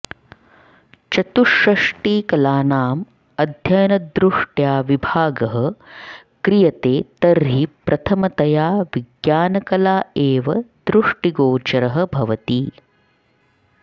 चतुष्षष्टिकलानाम् अध्ययनदृष्ट्या विभागः क्रियते तर्हि प्रथमतया विज्ञानकला एव दृष्टिगोचरः भवति